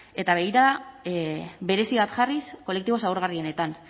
eta begirada berezi bat jarriz kolektibo zaurgarrienetan